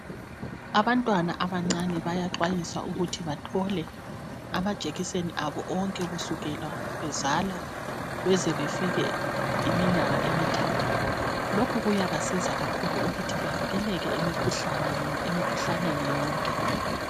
Abantwana abancane bayaxwayiswa ukuthi bathole amajekiseni abo onke ,kusukela bezalwa ,bezebefike iminyaka emithathu. Lokhu kuyabasiza kakhulu ukuthi bavikeleke emikhuhlaneni yonke.